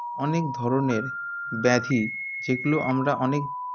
অনেক ধরনের ব্যাধি যেগুলো আমরা অনেক